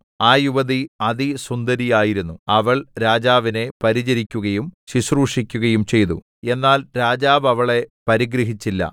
ആ യുവതി അതിസുന്ദരിയായിരുന്നു അവൾ രാജാവിനെ പരിചരിക്കുകയും ശുശ്രൂഷിക്കയും ചെയ്തു എന്നാൽ രാജാവ് അവളെ പരിഗ്രഹിച്ചില്ല